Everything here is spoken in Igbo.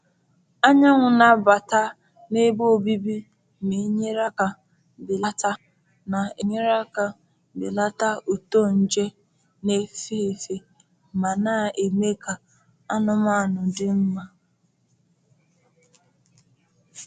Anyanwụ na-abata n’ebe obibi na-enyere aka belata na-enyere aka belata uto nje n'efe efe ma na-eme ka anụmanụ dị mma.